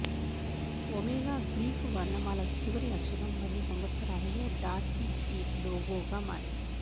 omega Greek వర్ణమాల చివరి అక్షరం మరియు సంవత్సరాలలో డార్సీసీడ్ లోగోగా మారింది